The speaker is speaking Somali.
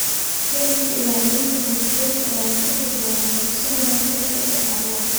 Kediska ilaalinta duurjoogta ayaa ka dhici doona dugsiga hoose dhexe ee Arua.